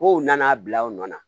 Kow nana bila u nɔ na